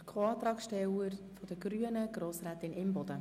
Für die Co-Antragsteller der Grünen spricht Grossrätin Imboden.